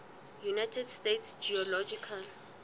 united states geological